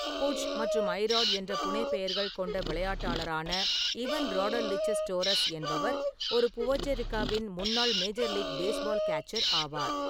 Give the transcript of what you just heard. புட்ஜ்' மற்றும் 'ஐ-ராட்' என்ற புனைப்பெயர்கள் கொண்ட விளையாட்டாளரான இவன் ராடர்லில்செஸ் டோரஸ் என்பவர் ஒரு புவேர்ட்டோ ரிக்காவின் முன்னாள் மேஜர் லீக் பேஸ்பால் கேச்சர் ஆவார்.